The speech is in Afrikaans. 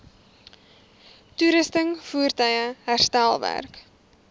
toerusting voertuie herstelwerk